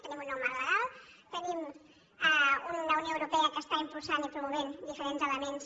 tenim un nou marc legal tenim una unió europea que està impulsant i pro·movent diferents elements